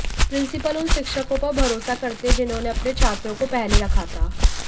principal उन शिक्षकों पर भरोसा करते हैं जिन्होंने अपने छात्रों को पहले रखा था